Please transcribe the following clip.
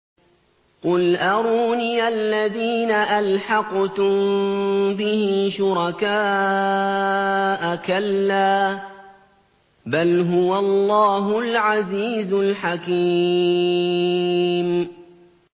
قُلْ أَرُونِيَ الَّذِينَ أَلْحَقْتُم بِهِ شُرَكَاءَ ۖ كَلَّا ۚ بَلْ هُوَ اللَّهُ الْعَزِيزُ الْحَكِيمُ